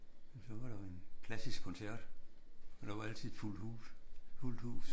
Og så var der jo en klassisk koncert og der var altid fuldt hus fuldt hus